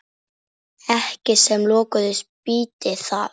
Ekki sem lökust býti það.